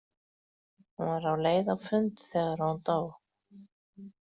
Hún var á leið á fund þegar hún dó.